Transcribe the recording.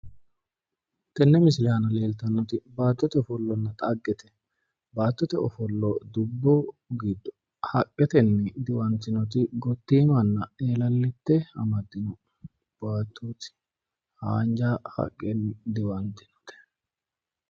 Tenne misile aana leeltannoti baattote ofollonna xaggete. baattote ofollo dubbu giddo haqetenni diwanttinoti gottiimanna eelallite amaddino baattooti haanjja haqqenni diwanttinote.